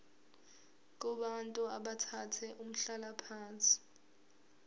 kubantu abathathe umhlalaphansi